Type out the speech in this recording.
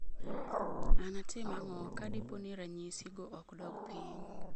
Anatim ang'o ka dipo ni ranyisi go ok dog piny?